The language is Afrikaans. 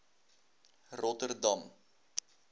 rotterdam